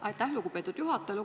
Aitäh, lugupeetud juhataja!